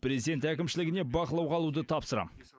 президент әкімшілігіне бақылауға алуды тапсырам